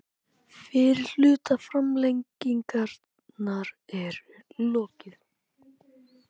Fyrri hluta framlengingar er lokið